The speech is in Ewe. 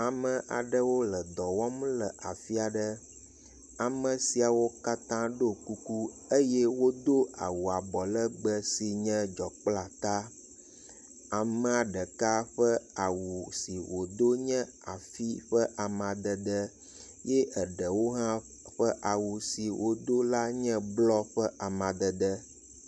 Ame aɖewo le dɔ wɔm le afi aɖe. Ame siawo katã ɖo kuku eye wodo awu abɔlegbe si nye dzɔ kple ata. Amea ɖeka ƒe awu si wodo nya afi ƒe amadede ye eɖewo hã ƒe awu si wodo la nye blɔ ƒe amadede.